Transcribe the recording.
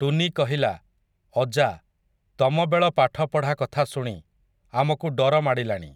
ଟୁନି କହିଲା, ଅଜା, ତମବେଳ ପାଠପଢା କଥା ଶୁଣି, ଆମକୁ ଡର ମାଡ଼ିଲାଣି, ।